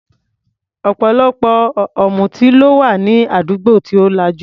Ọ̀pọ̀lọpọ̀ amutí ló wà ní àdúgbò tí ò lajú.